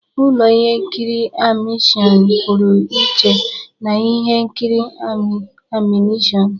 Ụlọ ihe nkiri animeshịon pụrụ iche na ihe nkiri animeshịon.